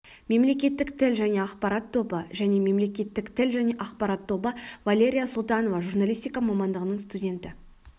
мемлекеттік тіл және ақпарат тобы және мемлекеттік тіл және ақпарат тобы валерия султанова журналистика мамандығының студенті